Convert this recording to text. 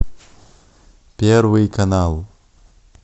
первый канал